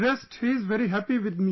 rest he is very happy with me